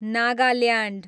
Nagaland